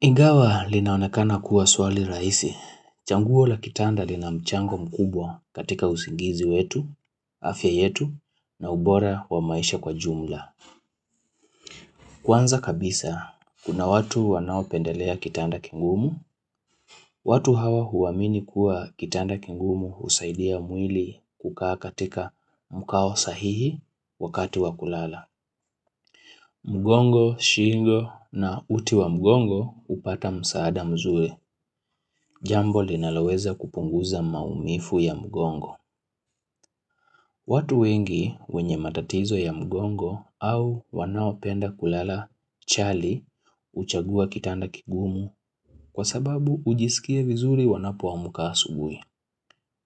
Ingawa linaonekana kuwa swali rahisi, chaguo la kitanda lina mchango mkubwa katika usingizi wetu, afya yetu, na ubora wa maisha kwa jumla. Kwanza kabisa, kuna watu wanaopendelea kitanda kingumu, watu hawa huwamini kuwa kitanda kingumu husaidia mwili kukaa katika mkao sahihi wakati wakulala. Mgongo, shingo na uti wa mgongo hupata msaada mzuri. Jambo linaloweza kupunguza maumivu ya mgongo. Watu wengi wenye matatizo ya mgongo au wanaopenda kulala chali huchagua kitanda kigumu kwa sababu ujisikie vizuri wanapoamka asubuhi.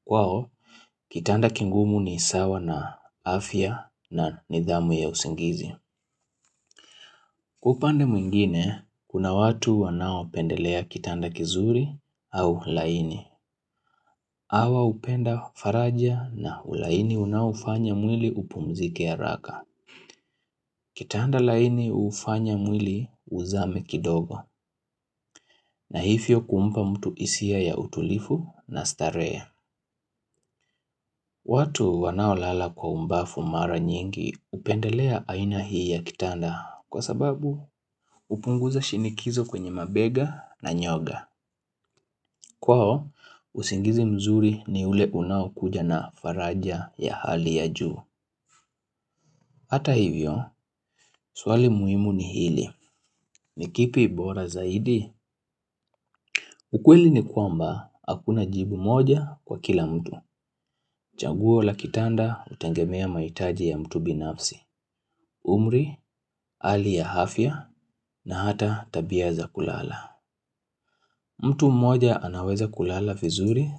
Kwao, kitanda kigumu ni sawa na afya na nidhamu ya usingizi. Kwa upande mwingine, kuna watu wanaopendelea kitanda kizuri au laini. Hawa upenda faraja na ulaini unaofanya mwili upumzike haraka. Kitanda laini hufanya mwili uzame kidogo. Na hivyo kumpa mtu hisia ya utulivu na starehe. Watu wanao lala kwa ubavu mara nyingi hupendelea aina hii ya kitanda kwa sababu hupunguza shinikizo kwenye mabega na nyoga. Kwao, usingizi mzuri ni ule unaokuja na faraja ya hali ya juu. Hata hivyo, swali muhimu ni hili, ni kipi bora zaidi? Ukweli ni kwamba, hakuna jibu moja kwa kila mtu. Changuo la kitanda hutegemea mahitaji ya mtu binafsi. Umri, hali ya afya, na hata tabia za kulala. Mtu moja anaweza kulala vizuri,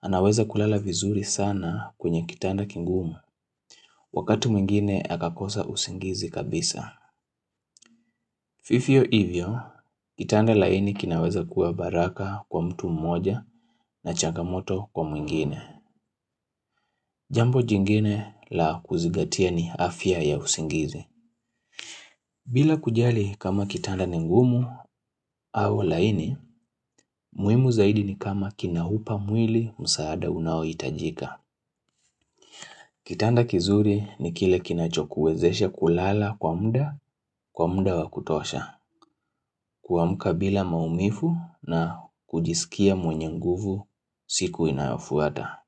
anaweza kulala vizuri sana kwenye kitanda kingumu. Wakati mwingine akakosa usingizi kabisa. Vivyo hivyo, kitanda laini kinaweza kuwa baraka kwa mtu mmoja na changamoto kwa mwingine. Jambo jingine la kuzigatia ni afya ya usingizi. Bila kujali kama kitanda ni ngumu au laini, muhimu zaidi ni kama kina upa mwili msaada unaohitajika. Kitanda kizuri ni kile kinachokuwezesha kulala kwa muda, kwa muda wa kutosha. Kuamka bila maumivu na kujisikia mwenye nguvu siku inayofuata.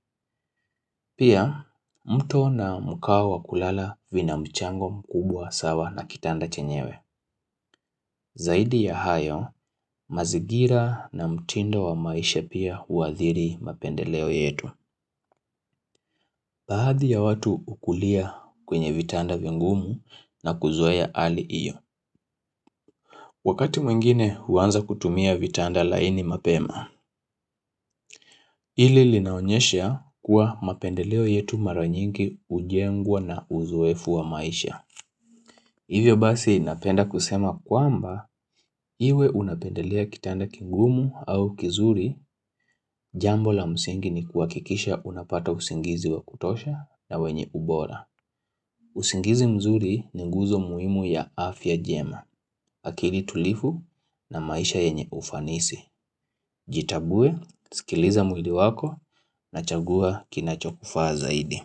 Pia, mto na mkao wa kulala vina mchango mkubwa sawa na kitanda chenyewe. Zaidi ya hayo mazingira na mtindo wa maisha pia huadhiri mapendeleo yetu. Bahadhi ya watu hukulia kwenye vitanda vingumu na kuzoea hali hiyo. Wakati mwingine huanza kutumia vitanda laini mapema. Hili linaonyesha kuwa mapendeleo yetu mara nyingi hujengwa na uzoefu wa maisha. Hivyo basi napenda kusema kwamba, iwe unapendelea kitanda kingumu au kizuri jambo la msingi ni kuhakikisha unapata usingizi wa kutosha na wenye ubora. Usingizi mzuri ni guzo muhimu ya afya njema, akili tulivu na maisha yenye ufanisi. Jitambue, sikiliza mwili wako na chagua kinachokufaa zaidi.